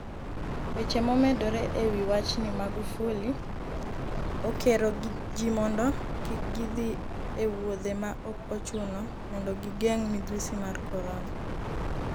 Weche momedore ewi wachni Magufuli: Okero ji mondo kik gidhi e wuodhe ma ok ochuno mondo gigeng' midhusi mar korona